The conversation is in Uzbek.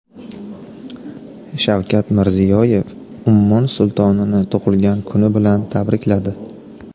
Shavkat Mirziyoyev Ummon sultonini tug‘ilgan kuni bilan tabrikladi.